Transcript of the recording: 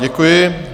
Děkuji.